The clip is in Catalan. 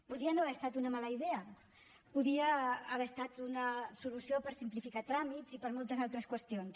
podia no haver estat una mala idea podia haver estat una solució per simplificar tràmits i per a moltes altres qüestions